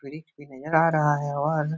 वृक्ष भी नजर आ रहा है और --